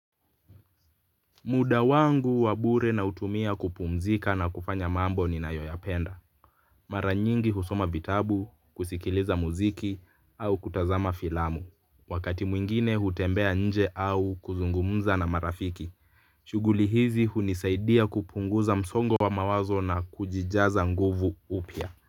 Muda wangu wa bure na utumia kupumzika na kufanya mambo ni na yoyapenda. Mara nyingi husoma vitabu, kusikiliza muziki au kutazama filamu. Wakati mwingine hutembea nje au kuzungumza na marafiki. Shughuli hizi hunisaidia kupunguza msongo wa mawazo na kujijaza nguvu upya.